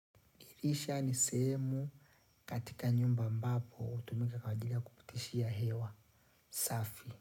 Dirisha ni sehemu katika nyumba ambapo hutumika kwaajiliya kupitishia hewa. Safi.